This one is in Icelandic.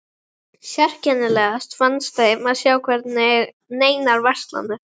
Sérkennilegast fannst þeim að sjá hvergi neinar verslanir.